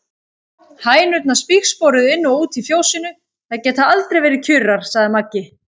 Hænurnar spígsporuðu inn og út í fjósinu, þær geta aldrei verið kjurar, sagði Maggi.